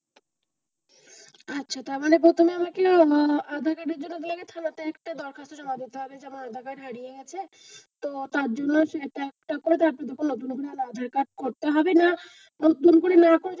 আচ্ছা তারমানে প্রথমে আমাকে আহ আধার কার্ড এর জন্য আমাকে থানাতে একটা দরখাস্ত জমা দিতে হবে যে আমার আধার কার্ড হারিয়ে গেছে তো তারজন্য আমাকে একটা নতুন আধার কার্ড করতে হবে না, পুরোপুরি না করে যে,